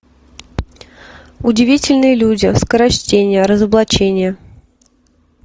удивительные люди скорочтение разоблачение